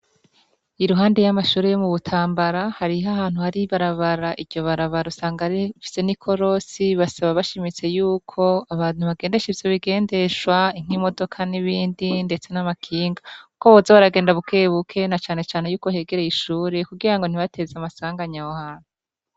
I ruhande y'amashuri yo mu butambara hariho ahantu hari barabara iryo baraba rusanga rifise n’ikorosi, basaba bashimitse yuko abantu bagendesha ivyo bigendeshwa nk'imodoka n'ibindi, ndetse n'amakinga, kuko boze baragenda bukebuke nacane cane yuko hegereye ishuri kugira ngo ntibateze amasanganya wohana.